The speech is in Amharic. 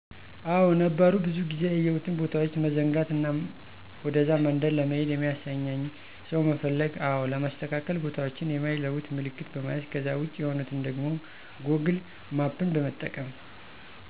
አዎ ነበሩ ብዙ ጊዜ ያየሁትን ቦታዎች መዘንጋት እና ወደዛ መንደር ለመሄድ የሚያሳየኝን ሰው መፈለግ አዎ ለማስተካከል ቦታዎችን የማይለወጥ ምልክት በመያዝ ከዛ ውጭ የሆኑትን ደግሞ ጎግል ማፕን በመጠቀም